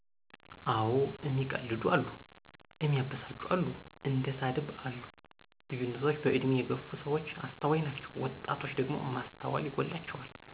አወ እሚቀልዱ አሉ፣ እሚበሳጩ አሉ፣ እንደሳደብ አሉ ልዩነቶች በእድሜ የገፍ ሰዎች አስተዋይ ናችው ወጣቶች ደግሞ ማስተዋል ይጎላቸዋል።